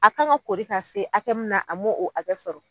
A kan ka koori k'a se hakɛ min na a m'o o hakɛ sɔrɔ.